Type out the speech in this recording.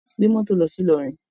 Gbé moto lọsi Ilorin!